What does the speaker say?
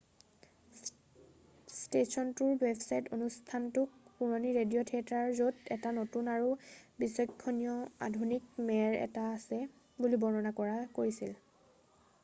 "স্টেচনটোৰ ৱেবচাইটত অনুষ্ঠানতোক "পুৰণি ৰেডিও থিয়েটাৰ য'ত এটা নতুন আৰু বিচক্ষনিয় আধুনিক মেৰ এটা আছে" বুলি বৰ্ণনা কৰিছিল।""